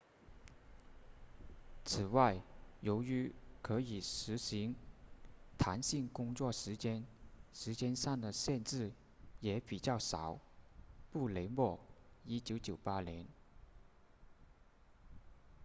此外由于可以实行弹性工作时间时间上的限制也比较少布雷默1998年